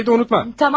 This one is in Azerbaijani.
Ha, çayı da unutma.